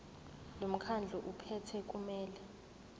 lomkhandlu ophethe kumele